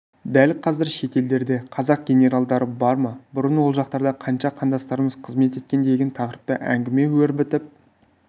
дәл қазір шетелдерде қазақ генералдары бар ма бұрын ол жақтарда қанша қандастарымыз қызмет еткен деген тақырыпта әңгіме өрбітіп